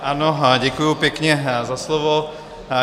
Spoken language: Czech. Ano, děkuji pěkně za slovo.